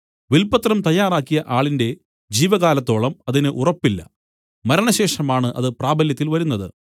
വിൽപത്രം തയ്യാറാക്കിയ ആളിന്റെ ജീവകാലത്തോളം അതിന് ഉറപ്പില്ല മരണശേഷമാണ് അത് പ്രാബല്യത്തിൽ വരുന്നത്